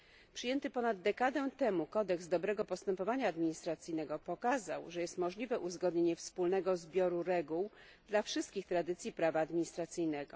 Przyjęty ponad dekadę temu kodeks dobrego postępowania administracyjnego pokazał, że jest możliwe uzgodnienie wspólnego zbioru reguł dla wszystkich tradycji prawa administracyjnego.